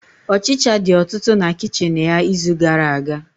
Ọchicha dị ọtụtụ na kichin ya n'izu gara-aga.